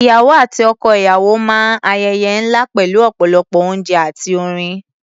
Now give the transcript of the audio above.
Ìyàwó àti ọkọ-ìyàwó máa ń ayẹyẹ ńlá pẹ̀lú ọ̀pọ̀lọpọ̀ oúnjẹ àti orin.